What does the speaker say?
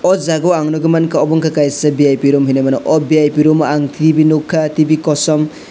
o jaga o ang nogui mangka obo ungka kaisa vip room hinui mano o vip room o ang tv nugkha tv kosom.